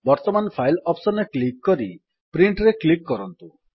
ବର୍ତ୍ତମାନ file option ରେ click କରି Printରେ କ୍ଲିକ୍ କରନ୍ତୁ